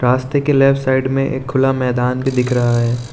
रस्ते के left side में एक खुला मैदान भी दिख रहा है।